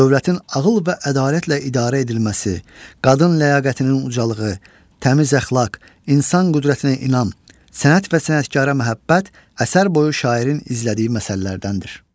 Dövlətin ağıl və ədalətlə idarə edilməsi, qadın ləyaqətinin ucalığı, təmiz əxlaq, insan qüdrətinə inam, sənət və sənətkara məhəbbət əsər boyu şairin izlədiyi məsələlərdəndir.